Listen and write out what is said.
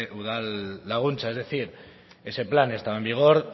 udalaguntza es decir ese plan estaba en vigor